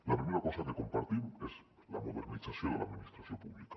la primera cosa que compartim és la modernització de l’administració pública